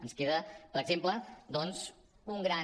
ens queda per exemple doncs un gran